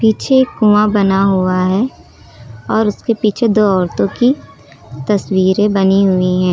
पीछे एक कुआं बना हुआ है और उसके पीछे दो औरतों की तस्वीरें बनी हुई हैं।